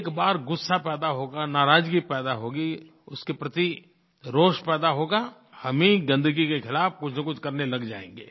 एक बार गुस्सा पैदा होगा नाराज़गी पैदा होगी उसके प्रति रोष पैदा होगा हम ही गन्दगी के खिलाफ़ कुछनकुछ करने लग जाएँगे